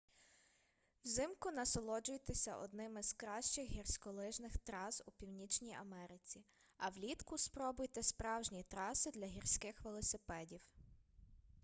взимку насолоджуйтеся одними з кращих гірськолижних трас у північній америці а влітку спробуйте справжні траси для гірських велосипедів